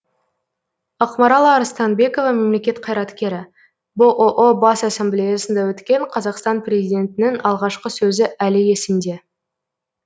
ақмарал арыстанбекова мемлекет қайраткері бұұ бас ассамблеясында өткен қазақстан президентінің алғашқы сөзі әлі есімде